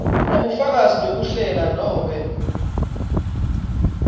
kunebufakazi bekuhlela nobe